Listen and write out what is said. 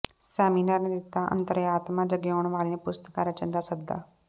seminar ਨੇ ਦਿੱਤਾ ਅੰਤਰਆਤਮਾ ਜਗਾਉਣ ਵਾਲੀਆਂ ਪੁਸਤਕਾਂ ਰਚਣ ਦਾ ਸੱਦਾ